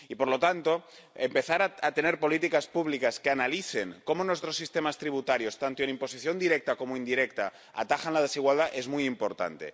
Y, por lo tanto, empezar a tener políticas públicas que analicen cómo nuestros sistemas tributarios, tanto en imposición directa como indirecta, atajan la desigualdad es muy importante.